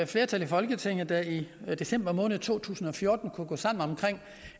flertal i folketinget der i december måned to tusind og fjorten kunne gå sammen om